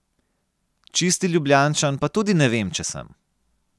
Čisti Ljubljančan pa tudi ne vem, če sem.